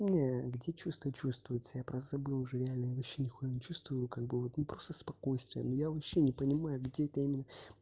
не где чувство чувствуется я просто забыл уже реально я вообще нихуя не чувствую как бы вот ну просто спокойствие ну я вообще не понимаю где это именно